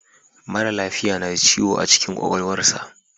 Mara lafiya na da ciwo a cikin kwakwalwarsa.